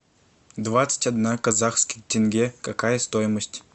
двадцать одна казахских тенге какая стоимость